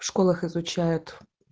в школах изучают